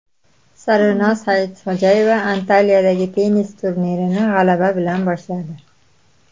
Sarvinoz Saidxo‘jayeva Antaliyadagi tennis turnirini g‘alaba bilan boshladi.